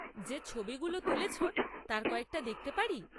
যে ছবিগুলো তুলেছ তার কয়েকটা দেখতে পারি?